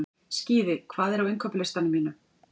Skíði, hvað er á innkaupalistanum mínum?